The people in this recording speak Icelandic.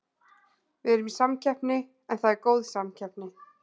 Við erum í samkeppni en það er góð samkeppni.